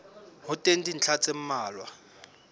ho teng dintlha tse mmalwa